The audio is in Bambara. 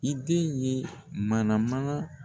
I den ye mana mana